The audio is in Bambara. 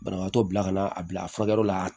Banabaatɔ bila ka na a bila a furakɛli la